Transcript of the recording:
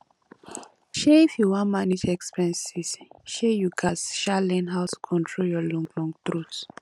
um if you wan manage expenses um you gats um learn how to control your long long throat